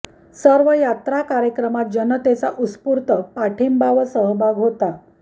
सर्व यात्रा कार्यक्रमात जनतेचा उत्स्फूर्त पाठिंबा व सहभाग होता